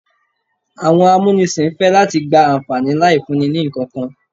Àwọn amúnisìn fẹ́ láti gba àǹfàní láì fúnni ní ìkankan.